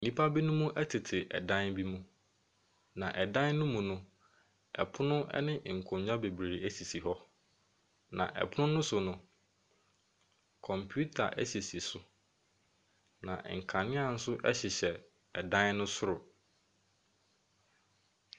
Nnipa binom tete dan bi mu, na ɛdan no mu no, pono ne nkonnwa bebree sisi hɔ, na ɛpono no so no, computer sisi so. Na nkanea nso hyehyɛ dan no soro.